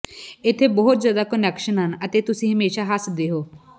ਇਥੇ ਬਹੁਤ ਜ਼ਿਆਦਾ ਕੁਨੈਕਸ਼ਨ ਹਨ ਅਤੇ ਤੁਸੀਂ ਹਮੇਸ਼ਾਂ ਹੱਸਦੇ ਹੋ